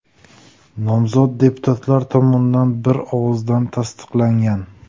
Nomzod deputatlar tomonidan bir ovozdan tasdiqlangan.